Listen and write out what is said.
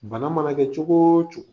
Bana mana kɛ cogo o cogo